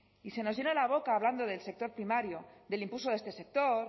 y se nos llena la boca hablando del sector primario del impulso de este sector